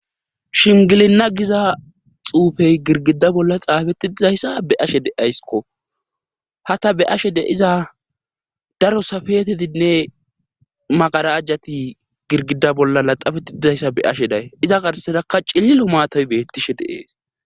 Shingilinna giza xuufey girgida bolla xaafetti dizayssa be ashe de ayskko ha ta be ashe de iza daro safetedinne magarajjati girgida bolla laxafetti dizayssa be ashe day iza garsedakka cillilo maatam beettishe deees.